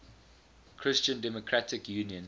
christian democratic union